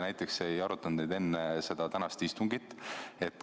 Miks te ei arutanud neid näiteks enne tänast istungit?